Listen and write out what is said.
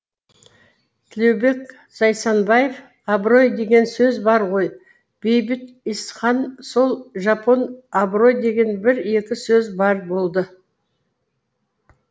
төлеубек зайсанбаев абырой деген сөз бар ғой бейбіт исхан сол жапон абырой деген бір екі сөз бар болды